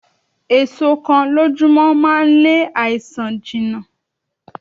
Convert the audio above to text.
Èso kan lójú mọ́ máa ń lé àìsàn jìnà.